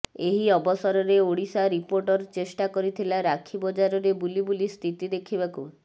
ଏହି ଅବସରରେ ଓଡ଼ିଶା ରିପୋର୍ଟର ଚେଷ୍ଟା କରିଥିଲା ରାକ୍ଷୀ ବଜାରରେ ବୁଲି ବୁଲି ସ୍ଥିତି ଦେଖିବାକୁ